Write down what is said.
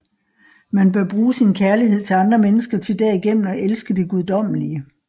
Man bør bruge sin kærlighed til andre mennesker til derigennem at elske det guddommelige